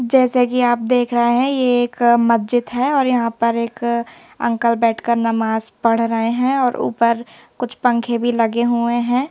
जैसे कि आप देख रहे हैं ये एक मस्जिद है और यहां पर एक अंकल बैठकर नमाज पढ़ रहे हैं और ऊपर कुछ पंखे भी लगे हुए हैं।